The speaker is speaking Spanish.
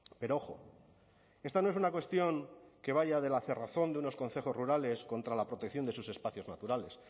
pero ojo esta no es una cuestión que vaya de la cerrazón de unos concejos rurales contra la protección de sus espacios naturales